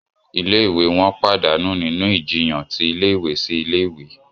Ilé-ìwé wọn pàdánù nínú ìjiyàn ti ilé-ìwé sí ilé ìwé